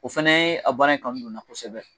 O fana ye a baara in kanu don na kosɛbɛ.